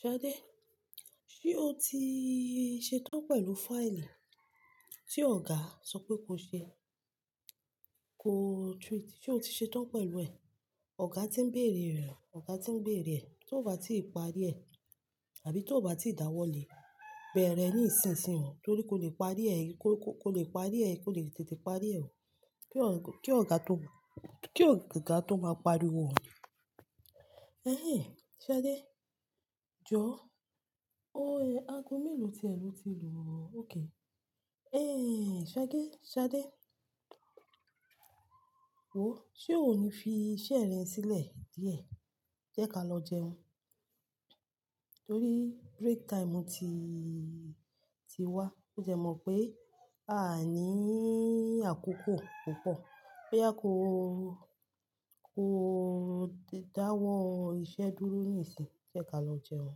Ṣadé, ṣe o ti ṣetán pẹ̀lú fáìlì tí ọ̀gá sọ pé kó ṣe kó tún ṣe, ṣe o ti ṣetán pẹ̀lú ẹ̀? Ọ̀gá ti ń bèrè rẹ̀, ọ̀gá ti ń bèrè ẹ. To bá ti parí ẹ̀ àbí tó bá ti dáwọ́lé, bẹ̀rẹ̀ ní ìsinsìnyí o torí kó le parí ẹ, kó, kó le parí ẹ, kó lè tètè parí ẹ o. Kí ọ̀gá, kí ọ̀gá tó, kí ọ̀gá tó máa pariwo. Ehen Ṣadé, jọ̀ọ́. Aago mélòó tí ẹ lò ti lò o? Okay. Ehn Ṣadé, Ṣadé, wò ó ṣe o ní fi iṣẹ́ rẹ sílẹ̀ díẹ̀. Jẹ́ ká lọ jẹun. Torí break time ti, ti wá, ó jẹ mọ̀ pé a ní àkókò púpọ̀. Bo yá kó, kó dáwọ́ iṣẹ́ dúró níìsín jẹ́ ká lọ jẹun.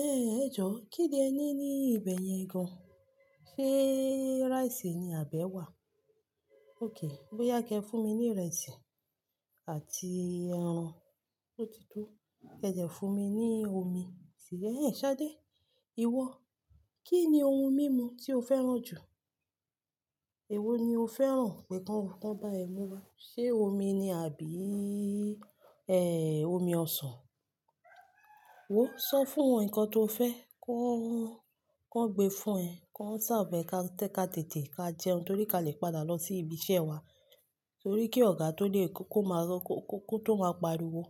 Ehn ẹjọ́ kíni ẹ ní ní ibẹ̀yẹn gan an? Ṣé iresi ni àbi ẹ́wà? Beeni, bóyá kí ẹ fún mi ní ìrẹsì àti ẹran tó ti tó. Ki ẹ fún mi ní omi sì ẹhen Ṣadé ìwọ, kí ni ohun mímu tí o fẹ́ràn jù? Èwo ni o fẹ́ràn kí wọ́n bá ẹ mu wa? Ṣé omi ni àbí eh omi ọsàn? Wò ó sọ fún wọn nǹkan tó fẹ́, ki won gbe fún ẹ, kia tètè ká jẹun, torí kí a lè padà lọ sí ibi iṣẹ́ wa, torí kí ọ̀gá tó de, kó tó máa pariwo.